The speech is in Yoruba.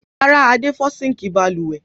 Rárá, Adé fọ́ síńkì balùwẹ̀.